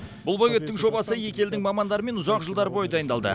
бұл бөгеттің жобасы екі елдің мамандарымен ұзақ жылдар бойы дайындалды